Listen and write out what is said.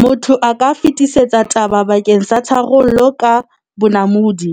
Motho a ka fetisetsa taba bakeng sa tharollo ka bonamodi,